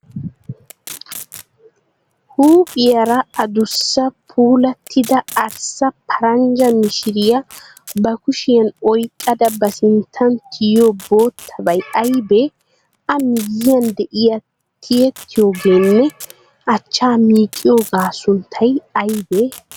Huuphiyaara addussa puulattida arssa paranjja mishiriya ba kushiyan oyikkada ba sinttan tiyiyo bootabay ayibee? A miyyiyan diya tiyettiyooganne achchaa miiqqiyoogaa sunttay ayibee?